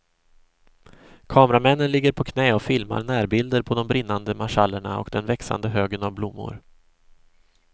Kameramännen ligger på knä och filmar närbilder på de brinnande marschallerna och den växande högen av blommor.